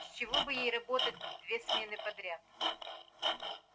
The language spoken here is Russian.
с чего бы ей работать в две смены подряд